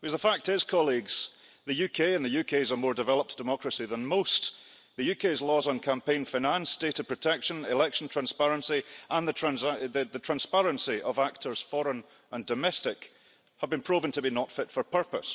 Because the fact is, colleagues, the UK's a more developed democracy than most, but the UK's laws on campaign finance, data protection, election transparency and the transparency of actors foreign and domestic have been proven to be not fit for purpose,